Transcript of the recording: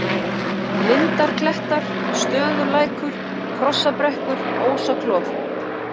Lindarklettar, Stöðullækur, Krossabrekkur, Ósaklof